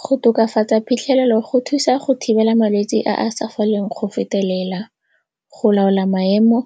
Go tokafatsa phitlhelelo go thusa go thibela malwetse a a sa foleng go fetelela, go laola maemo